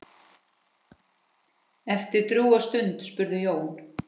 Eftir drjúga stund spurði Jón